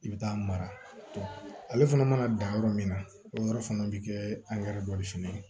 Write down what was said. I bɛ taa mara ale fana mana dan yɔrɔ min na o yɔrɔ fana bi kɛ dɔ de fɛnɛ ye